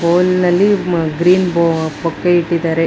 Bowl ನಲ್ಲಿ green bouquet ಇಟ್ಟಿದ್ದಾರೆ.